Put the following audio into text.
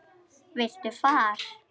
Viltu far?